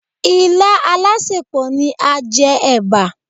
Ilá alásèpọ̀ ni a jẹ ẹ̀bà.